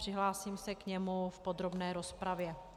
Přihlásím se k němu v podrobné rozpravě.